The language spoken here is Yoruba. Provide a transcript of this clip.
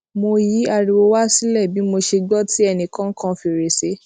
mo yí ariwo wá sílè bí mo ṣe gbó tí ẹnì kan kan fèrèsé